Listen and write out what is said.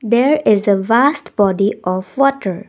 There is a vast body of water.